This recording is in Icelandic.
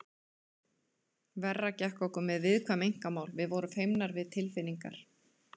Verra gekk okkur með viðkvæm einkamál, við vorum feimnar við tilfinningar.